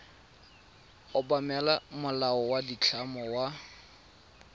obamela molao wa ditlamo wa